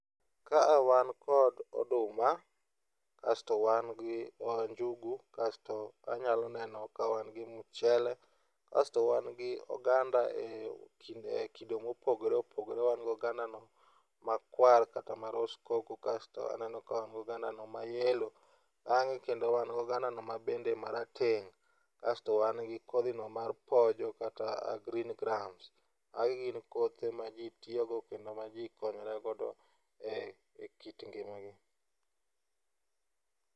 Kaa wan kod oduma, kasto wan gi njugu, kasto anyalo neno ka wan gi mchele, kasto wan gi oganda e kido mopogore opogore. Wan gi ogando no makwar kata ma roskoko kasto aneno ka wan gi ogando ma yellow bang'e kendo wan gi oganda no mabende marateng'. Kasto wan gi kodhino mar pojo kata green grams. Magi gin kothe ma ji tiyogo kendo maji konyorego ekit ngima gi.